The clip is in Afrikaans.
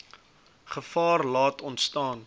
gevaar laat ontstaan